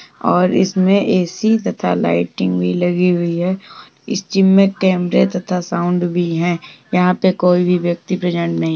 और इसमें ऐ.सी तथा लाइटिंग भी लगी हुई है। इस जिम में कैमरे तथा साउंड भी हैं। यहाँ पे कोई भी व्यक्ति प्रेजेंट नहीं --